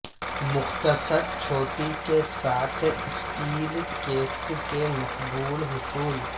مختصر چوٹی کے ساتھ اسٹیل کیٹس کا مقبول حصول